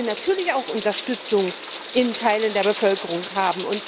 Weil er natürlich auch Unterstützung in Teilen der Bevölkerung hat.